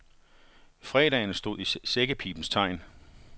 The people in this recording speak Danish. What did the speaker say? Fredagen stod i sækkepibens tegn.